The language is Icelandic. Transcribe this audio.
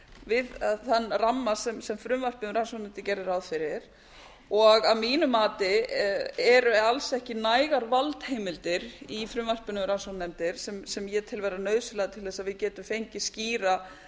við þann ramma sem frumvarpið um rannsóknarnefnd gerði ráð fyrir og að mínummati eru alls ekki nægar valdheimildir í frumvarpinu um rannsóknarnefndir sem ég tel vera nauðseynglar til eins að við getum fengið skýra